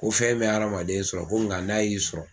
Ko fɛn bɛ adamaden sɔrɔ ko nga n'a y'i sɔrɔ